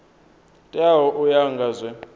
teaho u ya nga zwe